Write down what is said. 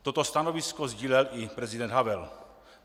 Toto stanovisko sdílel i prezident Havel.